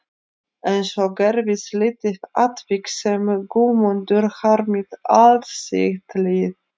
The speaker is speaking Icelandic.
En svo gerðist lítið atvik sem Guðmundur harmaði allt sitt líf.